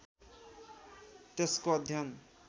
त्यसको अध्ययन